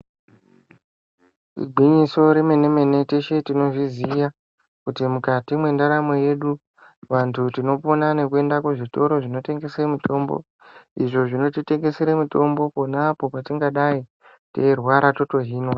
Igwinyiso remene-mene teshe tinozviziya kuti mukati mwendaramo yedu vantu tinopona nekuenda kuzvitoro zvinotengesa mitombo izvo zvino titengesera mutombo pona apapo patingadai teyirwara totohinwa.